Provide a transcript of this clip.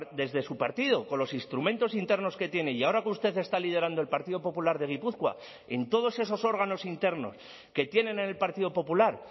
desde su partido con los instrumentos internos que tiene y ahora que usted está liderando el partido popular de gipuzkoa en todos esos órganos internos que tienen en el partido popular